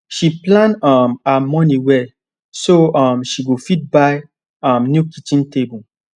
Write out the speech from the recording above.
she plan um her money well so um she go fit buy um new kitchen table